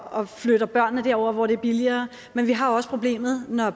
og flytter børnene over hvor det er billigere men vi har også problemet når